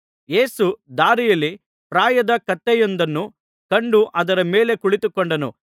ಯೇಸು ದಾರಿಯಲ್ಲಿ ಪ್ರಾಯದ ಕತ್ತೆಯೊಂದನ್ನು ಕಂಡು ಅದರ ಮೇಲೆ ಕುಳಿತುಕೊಂಡನು